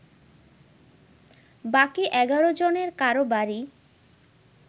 বাকি ১১ জনের কারো বাড়ি